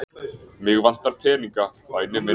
Mig vantar peninga, væni minn.